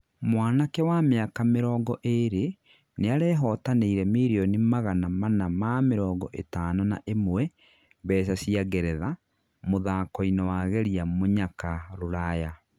mwanake wa mĩaka mĩrongo ĩrĩ, nĩarehotanĩire mirĩoni magana mana ma mĩrongo ĩtano na ĩmwe mbeca cĩa ngeretha, muthako-inĩ wa geria mũthaka rũraya